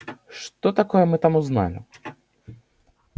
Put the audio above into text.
что такое мы там узнали